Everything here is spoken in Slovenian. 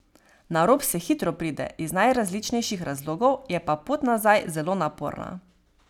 Na rob se hitro pride, iz najrazličnejših razlogov, je pa pot nazaj zelo naporna.